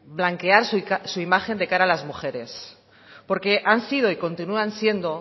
blanquear su imagen de cara a las mujeres porque han sido y continúan siendo